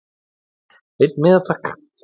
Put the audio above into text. Einn miða takk